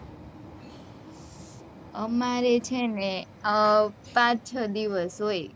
અમારે છે ને હમ પાંચ છ દિવસ હોય.